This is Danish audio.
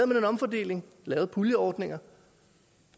man en omfordeling lavede puljeordninger